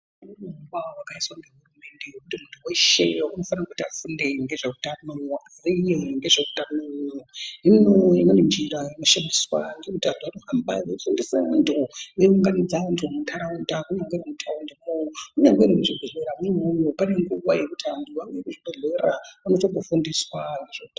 Mundu weshee unofanirwa kuti afunde ngezveutano hino imweni njira inoshandiswa ngekuita yekuunganidze vandu mundaraunda inyaya ndeve mutaundi imwomo kunyangwe muzvibhedhleya mwona imomo pane nguva yekuti vanhu vanounzwe kuzvibhedhlera vonatse kufundiswa.